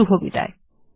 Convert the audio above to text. শুভবিদায়